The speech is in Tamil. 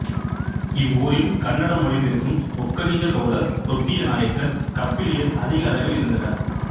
இவ்வூரில் கன்னடம் மொழி பேசும் ஒக்கலிக கவுடர் தொட்டிய நாயக்கர் கப்பிலியர் அதிக அளவில் இருந்தனர்